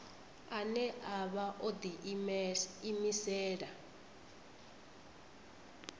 ane a vha o ḓiimisela